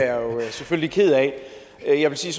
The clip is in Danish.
jo selvfølgelig ked af jeg vil sige